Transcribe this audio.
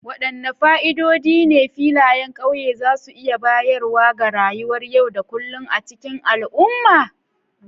Wadanne fa'idodi ne filayen ƙauye za su iya bayarwa ga rayuwar yau da kullun a cikin al'umma?